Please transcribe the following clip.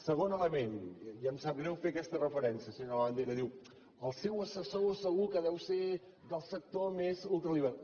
segon element i em sap greu fer aquesta referència senyor labandera diu el seu assessor segur que deu ser del sector més ultraliberal